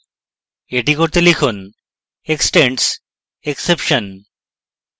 এটি করতে লিখুন extends exception